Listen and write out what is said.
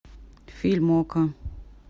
фильм окко